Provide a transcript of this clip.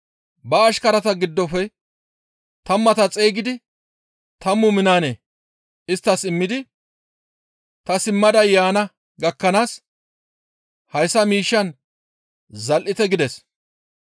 Ba ashkarata giddofe tammata xeygidi tammu minaane isttas immidi, ‹Ta simmada yaana gakkanaas hayssa miishshaan zal7ite› gides.